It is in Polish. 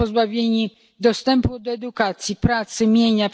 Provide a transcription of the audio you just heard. Są pozbawieni dostępu do edukacji, pracy, mienia.